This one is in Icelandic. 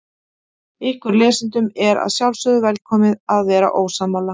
Ykkur lesendum er að sjálfsögðu velkomið að vera ósammála.